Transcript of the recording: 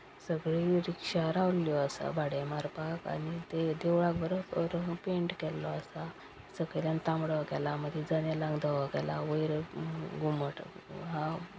सगळी रिक्षा रावल्ल्यो आसा भाडे मारपाक आणि देवळाक बरो रंग पेंट केल्लो आसा सकेल्यान तांबडो केला मदी धवो केला वयर अ घुमट आहा.